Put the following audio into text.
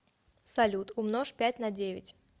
салют умножь пять на девять